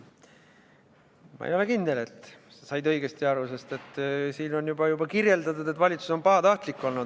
Ma ei ole kindel, et sa said õigesti aru, sest sinu küsimuses on kirjeldatud, et valitsus on olnud pahatahtlik.